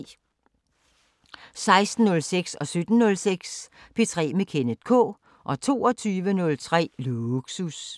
16:06: P3 med Kenneth K 17:06: P3 med Kenneth K 22:03: Lågsus